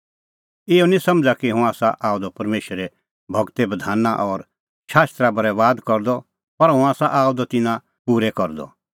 इहअ निं समझ़ा कि हुंह आसा आअ द परमेशरे गूरे बधाना और शास्त्रा बरैबाद करदअ पर हुंह आसा आअ द तिन्नां पूरै करदअ